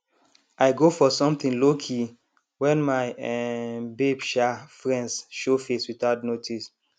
i go for something lowkey when my um babe um friends show face without notice